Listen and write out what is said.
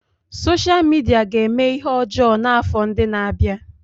Sosha Midia ga-eme ihe ọjọọ n'afọ ndị na-abịa.